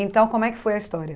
Então, como é que foi a história?